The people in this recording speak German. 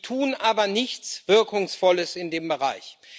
Sie tun aber nichts Wirkungsvolles in dem Bereich.